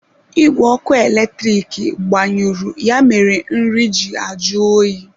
Igwe ọkụ eletrik gbanyụrụ ya mere nri ji ajụ oyi.